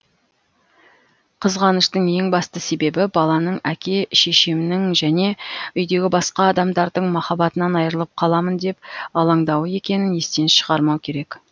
қызғаныштың ең басты себебі баланың әке шешемнің және үйдегі басқа адамдардың махаббатынан айрылып қаламын деп алаңдауы екенін естен шығармау керек